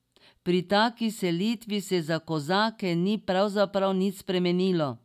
Pri taki selitvi se za kozake ni pravzaprav nič spremenilo.